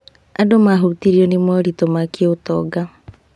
Andũ mahutirio nĩ moritũ ma kĩũtonga.